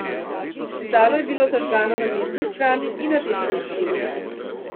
Letalo je bilo zažgano na desni strani in na desnem krilu.